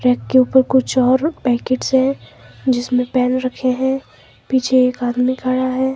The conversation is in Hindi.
बेड के ऊपर कुछ और पैकेट है जिसमे पेन रखे हैं पीछे एक आदमी खड़ा है।